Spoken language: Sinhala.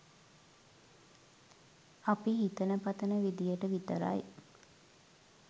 අපි හිතන පතන විදියට විතරයි